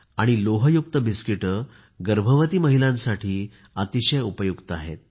आणि लोहयुक्त बिस्किटे गर्भवती महिलांसाठी अतिशय उपयुक्त आहेत